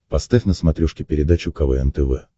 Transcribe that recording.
поставь на смотрешке передачу квн тв